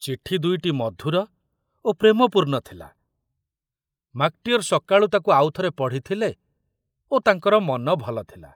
ଚିଠି ଦୁଇଟି ମଧୁର ଓ ପ୍ରେମପୂର୍ଣ୍ଣ ଥିଲା, ମାକଟିଅର ସକାଳୁ ତାକୁ ଆଉଥରେ ପଢ଼ିଥିଲେ ଓ ତାଙ୍କର ମନ ଭଲ ଥିଲା।